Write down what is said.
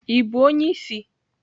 Ị bụ onye isi?